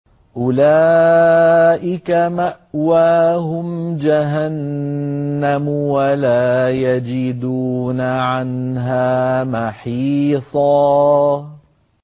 أُولَٰئِكَ مَأْوَاهُمْ جَهَنَّمُ وَلَا يَجِدُونَ عَنْهَا مَحِيصًا